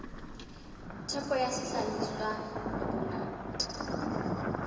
theko ya sehlahiswa le bongata